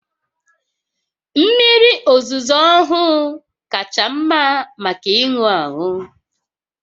Mmiri ozuzo ọhụụ kacha mma maka ịṅụ aṅụ